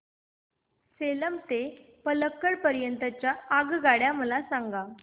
सेलम ते पल्लकड पर्यंत च्या आगगाड्या मला सांगा